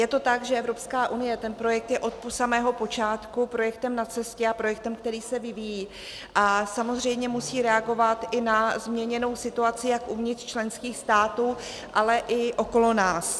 Je to tak, že Evropská unie, ten projekt je od samého počátku projektem na cestě a projektem, který se vyvíjí a samozřejmě musí reagovat i na změněnou situaci jak uvnitř členských států, ale i okolo nás.